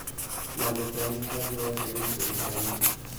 Mag kony ka giwacho ni chien kanyo,